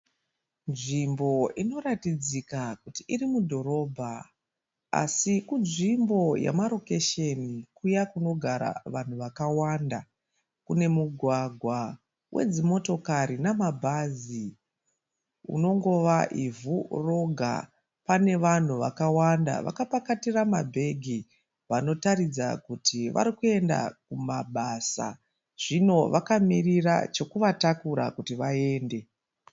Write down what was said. Nzvimbo inoratidzika kuti iri mudhorobha asi kunzvimbo yamarokesheni kuya kunogara vanhu vakawanda. Kune mugwagwa wedzimotokari namabhazi unongova ivhu roga. Pane vanhu vakawanda vakapakatira mabhegi vanotaridza kuti vari kuenda kumabasa. Zvino vakamirira chokuvatakura kuti vaende.